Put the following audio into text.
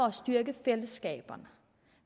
at styrke fællesskaberne